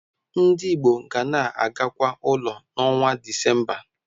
Ndị Igbo ga na-agakwa ụlọ n'ọnwa Disemba.